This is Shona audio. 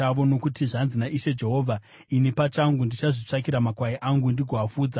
“ ‘Nokuti zvanzi naIshe Jehovha: Ini pachangu ndichazvitsvakira makwai angu ndigoafudza.